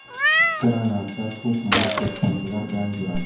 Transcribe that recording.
Granata, to‘qmoq, to‘pponchalar bilan yuradi.